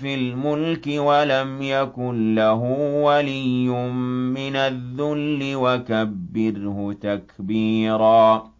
فِي الْمُلْكِ وَلَمْ يَكُن لَّهُ وَلِيٌّ مِّنَ الذُّلِّ ۖ وَكَبِّرْهُ تَكْبِيرًا